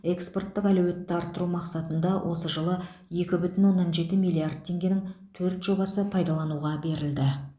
экспорттық әлеуетті арттыру мақсатында осы жылы екі бүтін оннан жеті миллиард теңгенің төрт жобасы пайдалануға берілді